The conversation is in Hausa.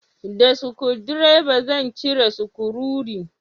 Da sukudireba zan cire sukurori